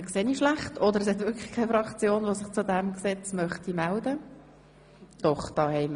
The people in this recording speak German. Entweder sehe ich schlecht oder keine Fraktion möchte sich dazu äussern.